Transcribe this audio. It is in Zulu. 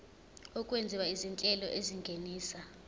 okwenziwa izinhlelo ezingenisa